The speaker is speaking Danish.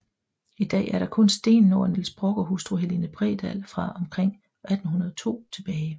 I dag er der kun stenen over Niels Brock og hustru Helene Bredahl fra omkring 1802 tilbage